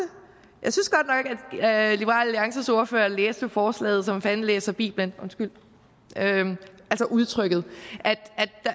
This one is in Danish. alliances ordfører læste forslaget som fanden læser bibelen undskyld udtrykket